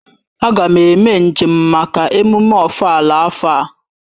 Aga m eme njem maka emume ofala afo a